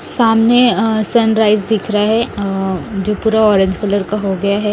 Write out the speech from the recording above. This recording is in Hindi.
सामने सनराइज दिख रहा है अ जो पूरा ऑरेंज कलर का हो गया है।